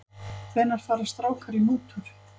Hvenær fara strákar í mútur?